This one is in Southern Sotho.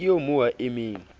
ke eo mo a emeng